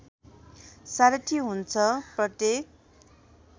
सारथि हुन्छ प्रत्येक